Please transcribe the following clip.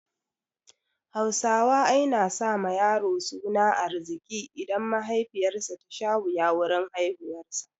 Hausawa ai na sa ma yaro suna Arzika in mahaifiyar sa ta sha wuya wurin haihuwar sa